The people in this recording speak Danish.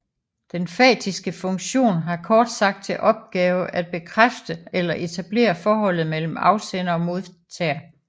Den fatiske funktion har kort sagt til opgave at bekræfte eller etablere forholdet mellem afsender og modtager